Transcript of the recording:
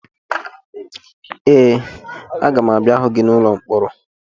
Ee, aga m abịa hụ gị n'ụlọ mkpọrọ